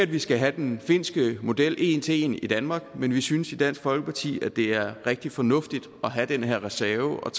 vi skal have den finske model en til en i danmark men vi synes i dansk folkeparti at det er rigtig fornuftigt at have den her reserve